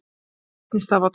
Drekka vatn í stað vodka